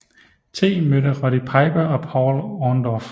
T mødte Roddy Piper og Paul Orndorff